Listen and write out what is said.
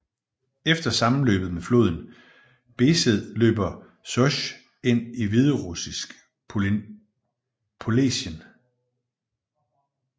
Efter sammenløbet med floden Besed løber Sosj ind i hviderussisk polesien